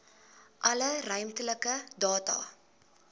alle ruimtelike data